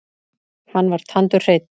Hann var tandurhreinn.